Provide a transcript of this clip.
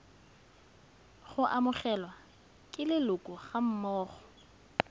go amogelwa ke leloko gammogo